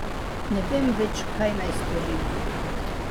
Ne vem več, kaj naj storim.